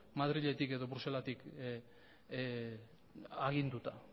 madriletik edo bruselastik aginduta